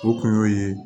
O kun y'o ye